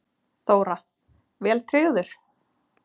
Þóra: Vel tryggður?